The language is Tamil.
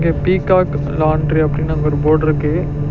இங்க பீகாக் லாண்ட்ரி அப்படினு அங்க ஒரு போட்ருக்கு .